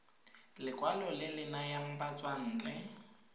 lekwalo le le nayang batswantle